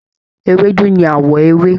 Ewédú ní àwọ̀ ewé